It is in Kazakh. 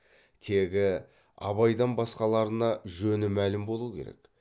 тегі абайдан басқаларына жөні мәлім болу керек